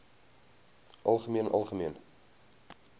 algemeen algemeen